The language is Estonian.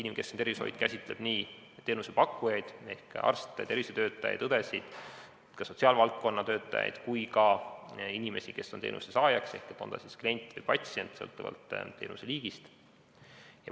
Inimkeskne tervishoid käsitleb nii teenusepakkujaid ehk arste, tervishoiutöötajaid, õdesid ja sotsiaalvaldkonna töötajaid kui ka inimesi, kes on teenuse saajad, on nad siis kliendid või patsiendid, sõltuvalt teenuse liigist.